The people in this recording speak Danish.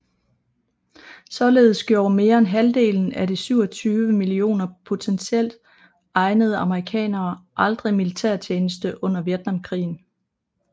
Således gjorde mere end halvdelen af de 27 mio potentielt egnede amerikanere aldrig militærtjeneste under Vietnamkrigen